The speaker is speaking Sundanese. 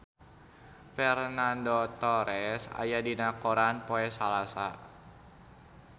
Fernando Torres aya dina koran poe Salasa